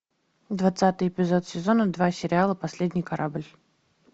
двадцатый эпизод сезона два сериала последний корабль